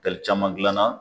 Tɛli caman gilan na